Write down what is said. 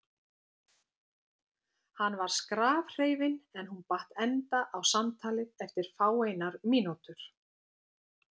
Hann var skrafhreifinn en hún batt enda á samtalið eftir fáeinar mínútur.